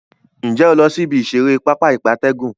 Nje o lo si ibi isere Pápá ìgbatẹ́gùn?